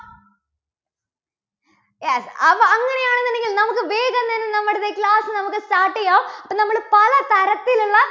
yes അത് അങ്ങനെയാണെന്നുണ്ടെങ്കിൽ നമുക്ക് വേഗം തന്നെ നമ്മുടെ class നമുക്ക് start ചെയ്യാം. അപ്പോൾ നമ്മൾ പല തരത്തിലുള്ള